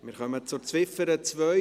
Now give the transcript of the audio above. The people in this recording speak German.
Wir kommen zur Ziffer 2: